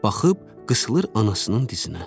Baxıb qısıır anasının dizinə.